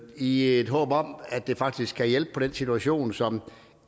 i et håb om at det faktisk kan hjælpe på den situation som